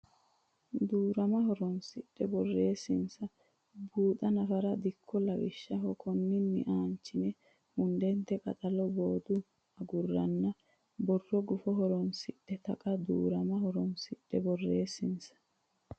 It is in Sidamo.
Duu rama horonsidhe borreessansa buuxi nafara dikko lawishshaho konninni aanchine hundnte qaxalo bodda agurroonni borro gufo horonsi ri Taqa Duu rama horonsidhe borreessansa.